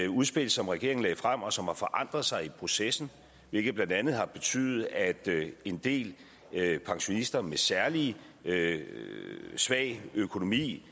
udspil som regeringen lagde frem og som har forandret sig i processen hvilket blandt andet har betydet at en del pensionister med særlig svag økonomi